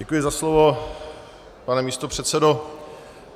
Děkuji za slovo, pane místopředsedo.